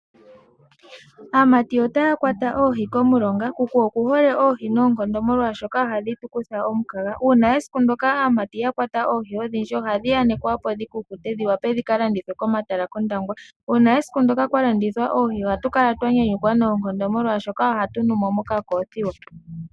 Aamati otaya kwata oohi komulonga. Kuku okuhole oohi noonkondo, molwashoka ohadhi tu kutha omukaga. Uuna esiku ndyoka aamati ya kwata oohi odhindji, ohadhi yanekwa opo dhi kukute dhi wape dhi ka landithwe kOndangwa. Uuna esiku ndyoka kwa landithwa oohi, ohatu kala twa nyanyukwa noonkondo molwashoka ohatu nu mo mokakoothiwa.